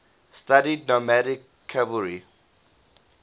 studied nomadic cavalry